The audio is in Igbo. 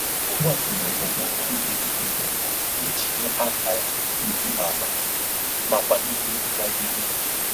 O gbasoro ụkpụrụ idetu ihe iji nye akara ezi agwa ma kwalitekwa nnagide